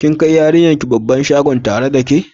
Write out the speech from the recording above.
Kin kai yariyan ki babban shagon tare da ke?